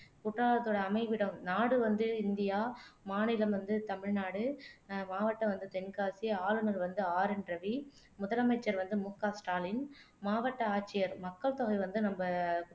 குற்றாலத்தோட அமைவிடம் நாடு வந்து இந்தியா மாநிலம் வந்து தமிழ்நாடு ஆஹ் மாவட்டம் வந்து தென்காசி ஆளுநர் வந்து ஆர் என் ரவி முதலமைச்சர் வந்து முக ஸ்டாலின் மாவட்ட ஆட்சியர் மக்கள் தொகை வந்து நம்ம